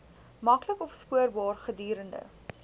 maklik opspoorbaar gedurende